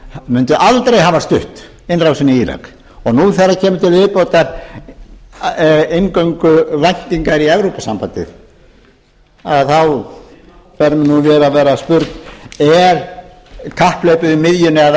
mundu aldrei hafa stutt innrásina í írak og nú þegar það koma til viðbótar inngönguvæntingar í evrópusambandið þá fer mér nú að vera spurn er kapphlaupið um miðjuna eða að